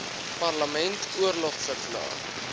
parlement oorlog verklaar